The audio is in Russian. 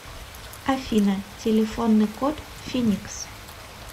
афина телефонный код финикс